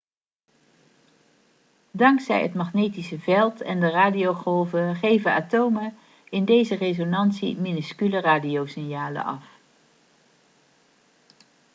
dankzij het magnetische veld en de radiogolven geven atomen in deze resonantie minuscule radiosignalen af